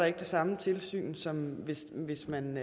ikke det samme tilsyn som hvis hvis man